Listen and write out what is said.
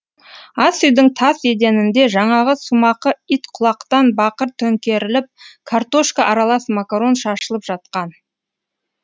ас үйдің тас еденінде жаңағы сумақы ит құлатқан бақыр төңкеріліп картошка аралас макарон шашылып жатқан